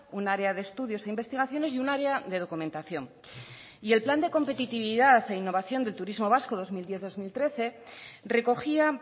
un área de estudios e investigaciones y un área de documentación y el plan de competitividad e innovación del turismo vasco dos mil diez dos mil trece recogía